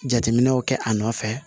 Jateminɛw kɛ a nɔfɛ